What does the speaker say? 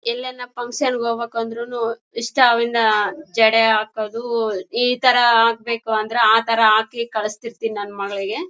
ಎಲ್ಲೆಲ್ಲ ಫನ್ಕ್ಷನ್ ಹೋಗ್ಬೇಕು ಅಂದ್ರೂನು ಇಷ್ಟ ಅವ್ಳ್ನ ಜಡೆ ಹಾಕೋದು ಈ ತರ ಹಾಕ್ಬೇಕು ಅಂದ್ರೆ ಆ ತರ ಹಾಕಿ ಕಲಿಸ್ತಿರ್ಥಿನಿ ನನ್ ಮಗಳಿಗೆ --